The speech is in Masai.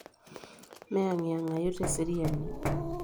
Meyang'iyang'ayu teseriani.